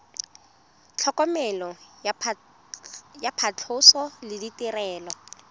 tlhokomelo ya phatlhoso le ditirelo